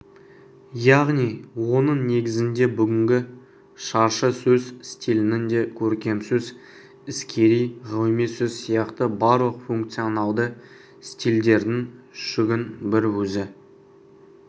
яғни оның негізінде бүгінгі шаршысөз стилінің де көркемсөз іскери ғылыми сөз сияқты барлық функционалды стильдердің жүгін бір өзі